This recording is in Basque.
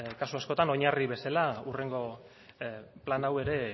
kasu askotan oinarri bezala hurrengo plan hau ere